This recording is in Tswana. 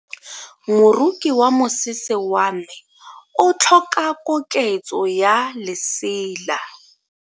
Moroki wa mosese wa me o tlhoka koketso ya lesela.